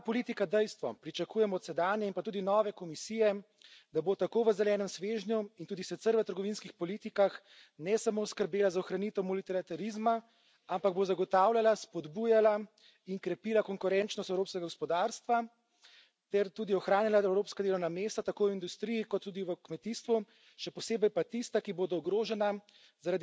Ker je ta politika dejstvo, pričakujem od sedanje in pa tudi nove Komisije, da bo tako v zelenem svežnju in tudi sicer v trgovinskih politikah, ne samo skrbela za ohranitev multilaterizma, ampak bo zagotavljala, spodbujala in krepila konkurenčnost evropskega gospodarstva ter tudi ohranjala evropska delovna mesta tako v industriji kot tudi v kmetijstvu, še posebej pa tista, ki bodo ogrožena